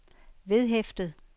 vedhæftet